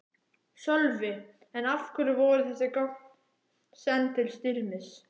Sölvi: En af hverju voru þessi gögn send til Styrmis?